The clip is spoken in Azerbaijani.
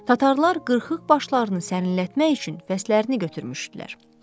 Tatarlar qırıq başlarını sərinlətmək üçün fəslərini götürmüşdülər.